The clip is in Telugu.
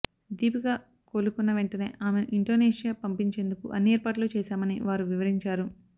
దీపిక కోలుకున్న వెంటనే ఆమెను ఇండోనేషియా పంపించేందుకు అన్ని ఏర్పాట్లు చేశామని వారు వివరించారు